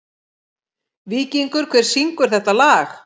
Víkingur, hver syngur þetta lag?